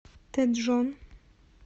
тэджон